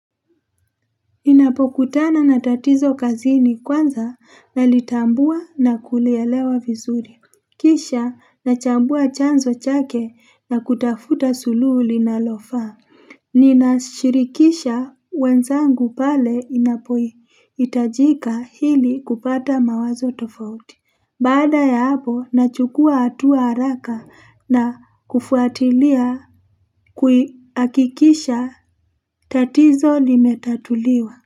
Ninapokutana na tatizo kazini, kwanza nalitambua na kulielewa vizuri Kisha nachambua chanzo chake na kutafuta suluhu linalofa Nina shirikisha wenzangu pale inapohitajika ili kupata mawazo tofauti Baada ya hapo nachukua hatua haraka na kufuatilia kuhakikisha tatizo limetatuliwa.